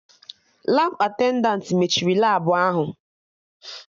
Labụ attendantị mechiri Labụ ahụ